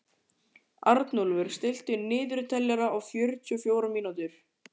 Arnúlfur, stilltu niðurteljara á fjörutíu og fjórar mínútur.